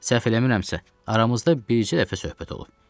Səhv eləmirəmsə, aramızda bicə dəfə söhbət olub.